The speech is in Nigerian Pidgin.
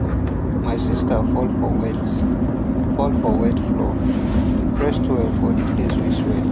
my sister fall for wet fall for wet floor we press towel for the place wey swell